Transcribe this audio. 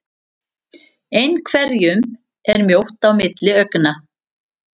Einhverjum er mjótt á milli augna